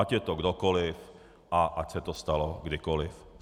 Ať je to kdokoliv a ať se to stalo kdykoliv.